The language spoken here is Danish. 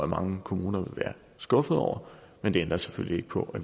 mange kommuner vil være skuffede over men det ændrer selvfølgelig ikke på